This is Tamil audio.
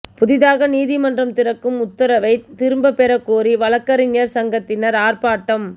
புதிதாக நீதிமன்றம் திறக்கும் உத்தரவை திரும்ப பெற கோரி வழக்கறிஞர்கள் சங்கத்தினர் ஆர்ப்பாட்டம்